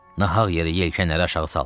Nahaq yeri yelkənləri aşağı saldıq.